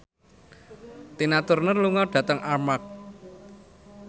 Tina Turner lunga dhateng Armargh